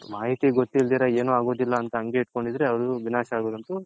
ಮಾಹಿತಿ ಗೊತ್ತ್ತಿಲ್ಲ ಅಂತ ಹಂಗೆ ಇಟ್ಕೊಂಡಿದ್ರೆ ಅದು ವಿನಾಶ ಆಗೋದೊಂತು